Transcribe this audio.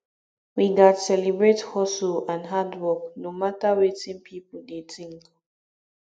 we gats celebrate hustle and hard work no matter wetin pipo dey think